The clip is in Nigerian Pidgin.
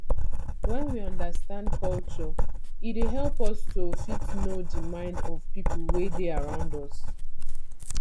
when we understand culture e dey help us to fit know di mind of pipo wey dey around us